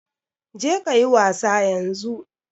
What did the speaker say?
Je kayi wasa yanzu.